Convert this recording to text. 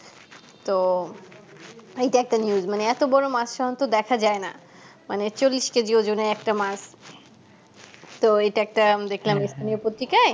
তো এইটা একটা news মানে এত বড়ো মাছ সাধারণত দেখা যায়না মানে চল্লিশ কেজি ওজনের একটা মাছ তো ইটা একটা দেখলাম এখানকার পত্রিকায়